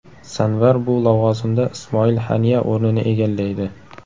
Sanvar bu lavozimda Ismoil Haniya o‘rnini egallaydi.